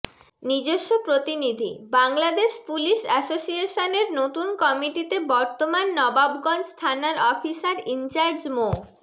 নিজস্ব প্রতিনিধিঃ Bangladesh police association এর নতুন কমিটিতে বর্তমান নবাবগঞ্জ থানার অফিসার ইনচার্জ মোঃ